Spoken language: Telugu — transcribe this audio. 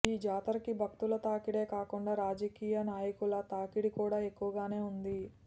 ఈ జాతరకి భక్తుల తాకిడే కాకుండా రాజకీయ నాయకుల తాకిడి కూడా ఎక్కువగానే ఉంది